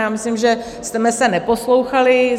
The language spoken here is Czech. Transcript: Já myslím, že jsme se neposlouchali.